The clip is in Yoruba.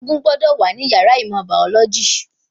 Egungun gbọ́dọ̀ wà ní yàrá ìmọ̀ bàọ́lọ́jì